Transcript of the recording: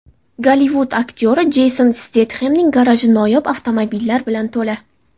Gollivud aktyori Jeyson Stetxemning garaji noyob avtomobillar bilan to‘la.